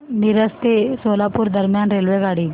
मिरज ते सोलापूर दरम्यान रेल्वेगाडी